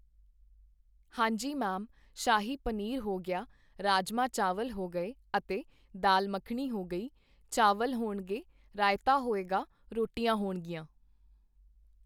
ਹਾਂਜੀ ਮੈਮ, ਸ਼ਾਹੀ ਪਨੀਰ ਹੋ ਗਿਆ, ਰਾਜਮਾਂਹ ਚਾਵਲ ਹੋ ਗਏ ਅਤੇ ਦਾਲ ਮੱਖਣੀ ਹੋ ਗਈ, ਚਾਵਲ ਹੋਣਗੇ, ਰਾਇਤਾ ਹੋਏਗਾ, ਰੋਟੀਆਂ ਹੋਣਗੀਆਂ।